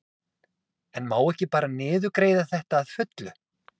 En má ekki bara niðurgreiða þetta að fullu?